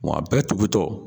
Mɔn a bɛɛ tugu tɔ